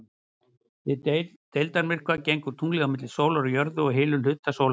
Við deildarmyrkva gengur tunglið á milli sólar og jörðu og hylur hluta sólarinnar.